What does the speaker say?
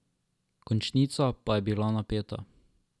Končnica pa je bila napeta.